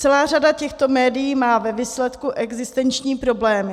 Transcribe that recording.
Celá řada těchto médií má ve výsledku existenční problémy.